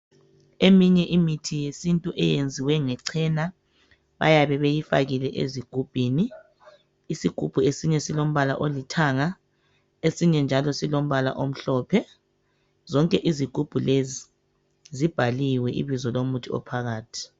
Eminye imithi yesintu eyenziwe nge cena bayabe beyifakile ezigubhini. Isigubhu esinye silombala olithanga esinye njalo silombala omhlophe. Zonke izigubhu lezi zibhaliwe ibizo lomuthi iphakathi.